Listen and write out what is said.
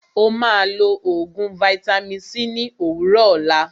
Ó máà lọ oògùn vaitami c ní òwúrọ̀ òlá.